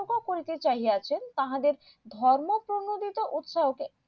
করিতে চাইয়াছেন তাহাদের ধর্ম প্রনোদিত উৎসাহকে